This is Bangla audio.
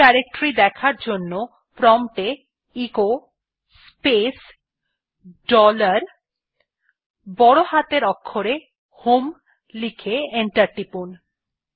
হোম ডিরেক্টরি দেখার জন্য প্রম্পট এ এচো স্পেস ডলার বড় হাতের অক্ষরে হোম লিখে এন্টার টিপুন